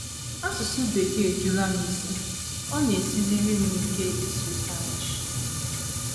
Asụsụ Bekee ejula m isi. Ọ na - esiziri m ike ịsụ Spanish. ”